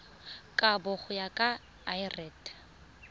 kabo go ya ka lrad